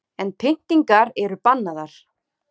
En pyntingar eru bannaðar